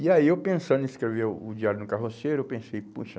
E aí eu pensando em escrever o o diário de um carroceiro, eu pensei, puxa,